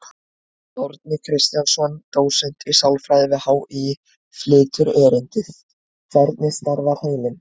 Árni Kristjánsson, dósent í sálfræði við HÍ, flytur erindið: Hvernig starfar heilinn?